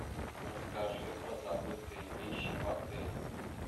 расскажи про забытые вещи в отеле